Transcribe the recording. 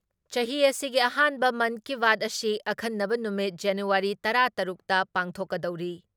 ꯆꯍꯤ ꯑꯁꯤꯒꯤ ꯑꯍꯥꯟꯕ ꯃꯟꯀꯤꯕꯥꯠ ꯑꯁꯤ ꯑꯈꯟꯅꯕ ꯅꯨꯃꯤꯠ ꯖꯅꯨꯋꯥꯔꯤ ꯇꯔꯥ ꯇꯔꯨꯛ ꯇ ꯄꯥꯡꯊꯣꯛꯀꯗꯧꯔꯤ ꯫